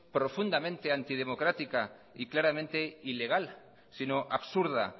profundamente antidemocrática y claramente ilegal sino absurda